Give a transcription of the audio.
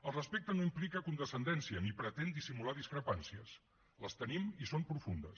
el respecte no implica condescendència ni pretén dissimular discrepàncies les tenim i són profundes